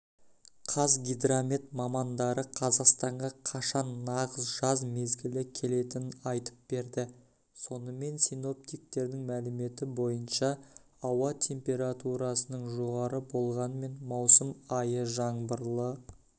қазгидромет мамандары қазақстанға қашан нағыз жаз мезгілі келетінін айтып берді сонымен синоптиктердің мәліметі бойынша ауа температурасының жоғары болғанмен маусым айы жаңбырлы